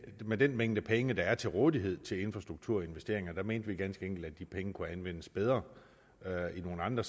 med den mængde penge der er til rådighed til infrastrukturinvesteringer mente vi ganske enkelt at de penge kunne anvendes bedre i nogle andre